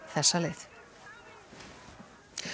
þessa leið